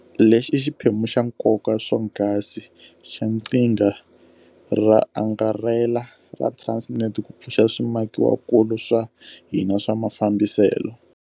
Lexi i xiphemu xa nkoka swonghasi xa qhinga ro angarhela ra Transnet ku pfuxa swimakiwakulu swa hina swa mafambiselo.